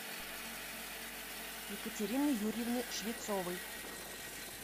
екатерины юрьевны швецовой